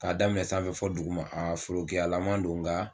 K'a daminɛ sanfɛ fɔ duguma a forokiyalama don nka